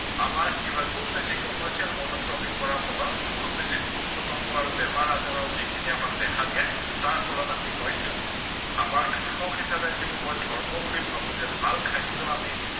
আমাৰ কি হয় খুউব বেছি commercial monocropping কৰাৰ ফলত খুউব বেছি পোক পতংগ আৰু বেমাৰ আজাৰৰ যিখিনি আমাক দেখা দিয়ে তাৰ ফলত আমি হয়তো আমাৰ কৃষক হিচাপে যিটো মই ধৰ্ম বুলি ভাৱো যে ভাল খাদ্য় আমি